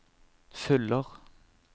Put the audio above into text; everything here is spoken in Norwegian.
fyller